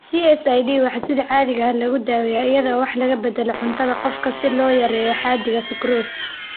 CSID waxaa sida caadiga ah lagu daaweeyaa iyada oo wax laga beddelo cuntada qofka si loo yareeyo xaddiga sukrose.